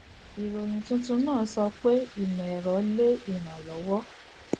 ìròyìn tuntun náà sọ pé ìmọ ẹrọ lè irànlọwo